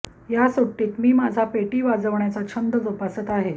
या सुट्टीत मी माझा पेटी वाजवण्याचा छंद जोपासत आहे